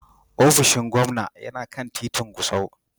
Ofishin gwamna yana kan titin Gusau.